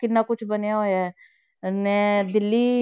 ਕਿੰਨਾ ਕੁਛ ਬਣਿਆ ਹੋਇਆ ਹੈ ਨਾ ਦਿੱਲੀ,